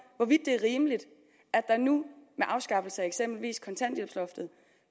hvorvidt det er rimeligt at der nu med afskaffelsen af eksempelvis kontanthjælpsloftet